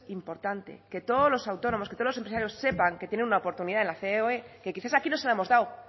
importante que todos los autónomos que todos los empresarios sepan que tienen una oportunidad en la ceoe que quizás aquí no se la hemos dado